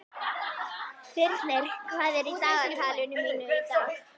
Brimir, hvað er á dagatalinu í dag?